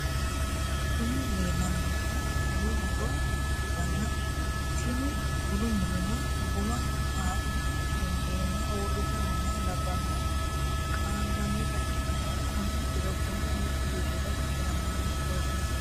kuni leellanni noohu bunu muro ikkitanna, tini bunu murono guma haa'ne gundeenna uurrite nooha labbannoti qaangannita ikkitanna, konne diro bunu meu birrira hiramanni goofino?